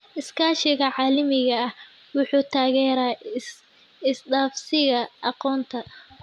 Iskaashiga caalamiga ah wuxuu taageeraa isdhaafsiga aqoonta.